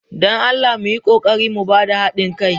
don Allah mu yi ƙoƙari mu ba da haɗin kai.